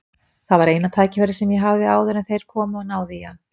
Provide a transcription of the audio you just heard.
Það var eina tækifærið sem ég hafði áður en þeir komu og náðu í hann.